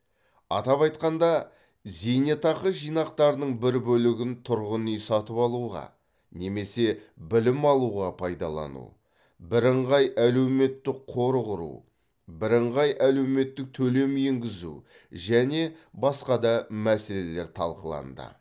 атап айтқанда зейнетақы жинақтарының бір бөлігін тұрғын үй сатып алуға немесе білім алуға пайдалану бірыңғай әлеуметтік қор құру бірыңғай әлеуметтік төлем енгізу және басқа да мәселелер талқыланды